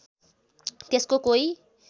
त्यसको कोही